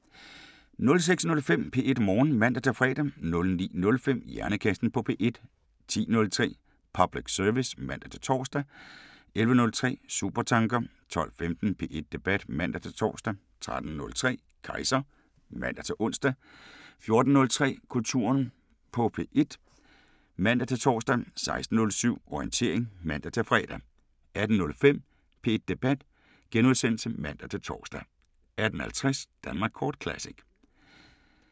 06:05: P1 Morgen (man-fre) 09:05: Hjernekassen på P1 10:03: Public service (man-tor) 11:03: Supertanker 12:15: P1 Debat (man-tor) 13:03: Kejser (man-ons) 14:03: Kulturen på P1 (man-tor) 16:07: Orientering (man-fre) 18:05: P1 Debat *(man-tor) 18:50: Danmark kort Classic